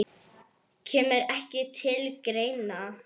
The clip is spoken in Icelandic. Kemur ekki til greina.